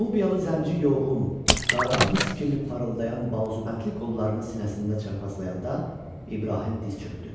Nubiyalı zənci yoğun, qara mis kimi parıldayan baldırbəndli qollarını sinəsində çarpazlayanda İbrahim diz çökdü.